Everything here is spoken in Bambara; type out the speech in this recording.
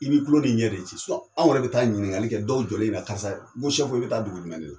I b'i tulo n'i ɲɛ de ci anw yɛrɛ bɛ taa ɲiniŋali kɛ dɔw jɔlen ɲɛna: karisa nko e be taa dugu jumɛn de la?